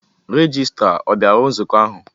Rejistra a bịara nzukọ ahụ?